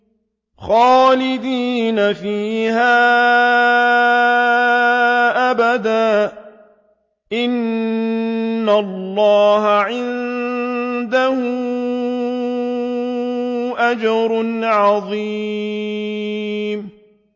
خَالِدِينَ فِيهَا أَبَدًا ۚ إِنَّ اللَّهَ عِندَهُ أَجْرٌ عَظِيمٌ